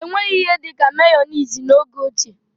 Enweghị ihe dịka meyoniz n'oge ochie.